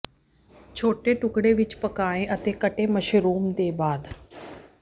ਛੋਟੇ ਟੁਕੜੇ ਵਿੱਚ ਪਕਾਏ ਅਤੇ ਕੱਟੇ ਮਸ਼ਰੂਮ ਦੇ ਬਾਅਦ